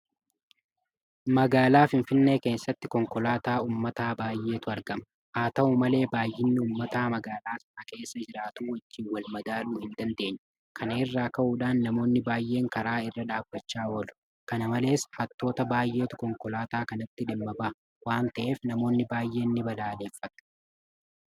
Magaalaa Finfinnee keessatti konkolaataa uummataa baay'eetu argama. Haata'u malee baay'ina uummataa magaalaa sana keessa jiraatu wajjin walmadaaluu hin dandeenye. Kana irraa ka'uudhaan namoonni baay'een karaa irra dhaabbachaa oolu. Kana malees hattoota baay'eetu konkolaataa kanatti dhimma baha waanta ta'eef namoonni baay'een ni balaaleffatu.